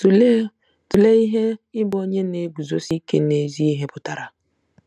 Tụlee Tụlee ihe ịbụ onye na-eguzosi ike n'ezi ihe pụtara.